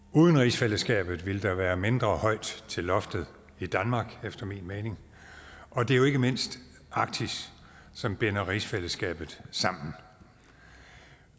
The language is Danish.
uden rigsfællesskabet ville der være mindre højt til loftet i danmark efter min mening og det er jo ikke mindst arktis som binder rigsfællesskabet sammen